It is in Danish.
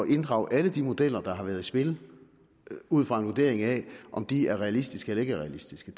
inddrage alle de modeller der har været i spil ud fra en vurdering af om de er realistiske eller ikke er realistiske